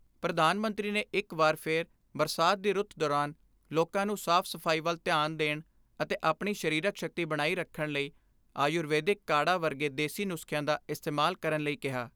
ਪ੍ਰਧਾਨ ਮੰਤਰੀ ਨੇ ਇਕ ਵਾਰ ਫਿਰ ਬਰਸਾਤ ਦੀ ਰੁੱਤ ਦੌਰਾਨ ਲੋਕਾਂ ਨੂੰ ਸਾਫ ਸਫਾਈ ਵੱਲ ਧਿਆਨ ਦੇਣ ਅਤੇ ਆਪਣੀ ਸ਼ਰੀਰਕ ਸ਼ਕਤੀ ਬਣਾਈ ਰੱਖਣ ਲਈ ਆਯੁਰਵੈਦਿਕ ਕਾੜ੍ਹਾ ਵਰਗੇ ਦੇਸੀ ਨੁਸਖਿਆਂ ਦਾ ਇਸਤੇਮਾਲ ਕਰਨ ਲਈ ਕਿਹਾ।